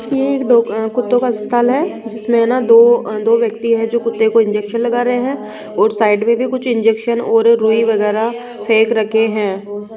ये एक डा अ कुत्तों का अस्पताल है जिसमें न दो दो व्यक्ति हैं जो कुत्ते को इंजेक्शन लगा रहे हैं और साइड में भी कुछ इंजेक्शन रुई वगैरा फेक रखे हैं।